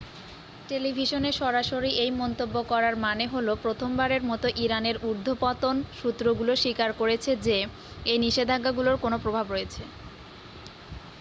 টেলিভিশনে সরাসরি এই মন্তব্য করার মানে হলো প্রথমবারের মতো ইরানের ঊর্ধ্বতন সূত্রগুলো স্বীকার করেছে যে এই নিষেধাজ্ঞাগুলোর কোন প্রভাব রয়েছে